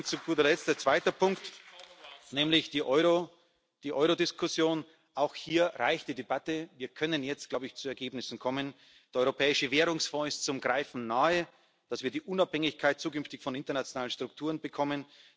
Zu guter Letzt ein zweiter Punkt, nämlich die Euro Diskussion Auch hier reicht die Debatte. Wir können jetzt, glaube ich, zu Ergebnissen kommen. Der Europäische Währungsfonds ist zum Greifen nahe, damit wir zukünftig die Unabhängigkeit von internationalen Strukturen bekommen.